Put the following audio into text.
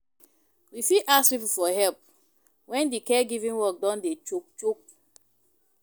We fit ask pipo for help when di caregiving work don dey choke choke